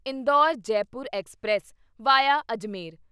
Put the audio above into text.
Indore Jaipur express V I A Ajmer